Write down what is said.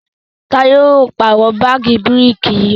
Taye yíò pààrọ̀ paadi bírékì yí